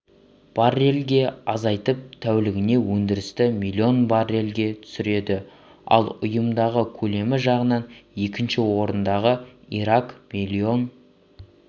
баррельге азайтып тәулігіне өндірісті миллион баррельге түсіреді ал ұйымдағы көлемі жағынан екінші орындағы ирак миллион